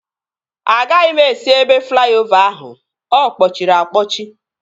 Agaghị m esi ebe flaiovaa ahu, ọkpọchịri akpọchi